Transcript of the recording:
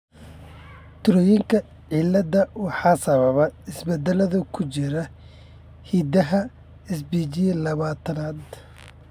Troyerka cilada waxaa sababa isbeddellada ku jira hiddaha SPGlabatadan.